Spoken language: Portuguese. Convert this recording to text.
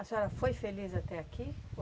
A senhora foi feliz até aqui?